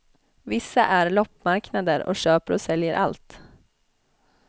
Vissa är loppmarknader och köper och säljer allt.